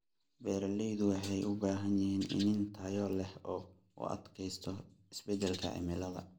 Beeralaydu waxay u baahan yihiin iniin tayo leh oo u adkaysta isbeddelka cimilada.